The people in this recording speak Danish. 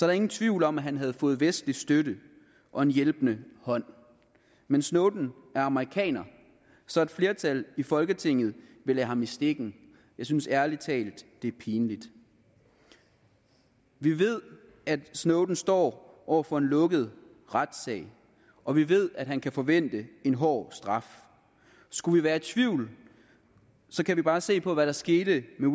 der ingen tvivl om at han havde fået vestlig støtte og en hjælpende hånd men snowden er amerikaner så et flertal i folketinget vil lade ham i stikken jeg synes ærlig talt at det er pinligt vi ved at snowden står over for en lukket retssag og vi ved at han kan forvente en hård straf skulle vi være i tvivl kan vi bare se på hvad der skete med